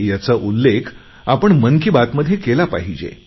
ह्याचा उल्लेख आपण मन की बातमध्ये केला पाहिजे